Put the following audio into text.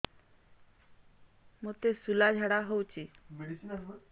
ମୋତେ ଶୂଳା ଝାଡ଼ା ହଉଚି